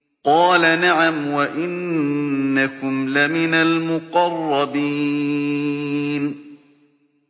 قَالَ نَعَمْ وَإِنَّكُمْ لَمِنَ الْمُقَرَّبِينَ